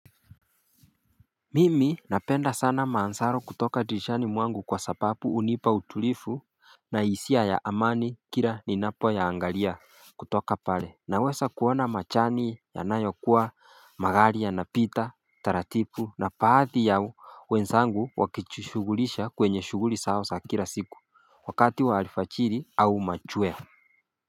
Mimi napenda sana maansaro kutoka dirishani mwangu kwa sapapu unipa utulifu na hisia ya amani kila ninapo yaangalia kutoka pale Naweza kuona machani yanayo kuwa magali yanapita taratipu na paathi ya wenzangu wakijishugulisha kwenye shuguli sao sa kira siku wakati wa lifachiri au machweo.